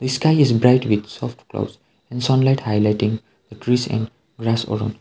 the sky is bright with soft clouds and sunlight highlighting the trees and grass around.